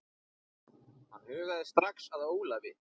Hann hugaði strax að Ólafi.